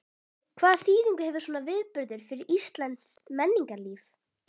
Hvaða þýðingu hefur svona viðburður fyrir íslenskt menningarlíf?